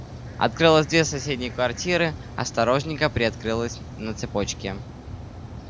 открылась дверь соседней квартиры осторожненько приоткрылась на цепочке